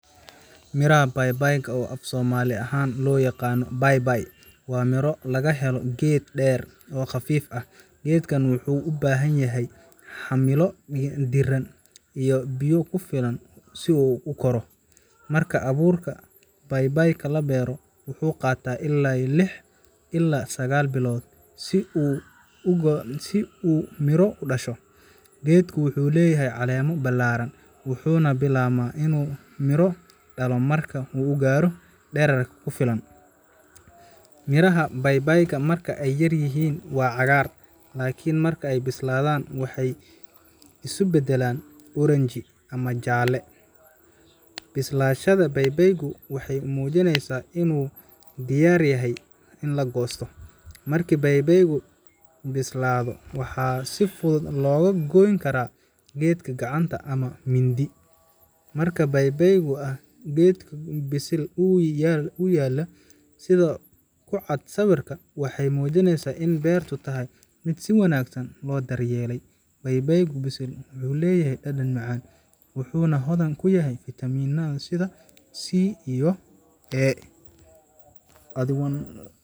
Miraha papaya, oo af Soomaali ahaan loo yaqaan babaay, waa miro laga helo geed dheer oo khafiif ah. Geedkan wuxuu u baahan yahay cimilo diiran iyo biyo ku filan si uu u koro. Marka abuurka babaayga la beero, wuxuu qaataa ilaa lix ilaa sagal bilood si uu miro u dhasho. Geedku wuxuu leeyahay caleemo ballaaran, wuxuuna bilaabaa inuu miro dhalo marka uu gaaro dhererka ku filan. Midhaha babaayga marka ay yaryihiin waa cagaar, laakiin marka ay bislaadaan waxay isu beddelaan oranji ama jaalle. Bislaanshaha babaaygu waxay muujinaysaa in uu diyaar u yahay in la goosto. Markii babaayga bislaado, waxaa si fudud looga goyn karaa geedka gacanta ama mindi. Miro babaayga ah oo geedkiisa bisil ku yaalla, sida ku cad sawirka, waxay muujinayaan in beertu tahay mid si wanaagsan loo daryeelay. Babaayga bisil wuxuu leeyahay dhadhan macaan, wuxuuna hodan ku yahay fiitamiinno sida Vitamin C iyo A.